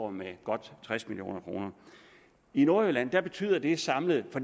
af med godt tres million kroner i nordjylland betyder det samlet for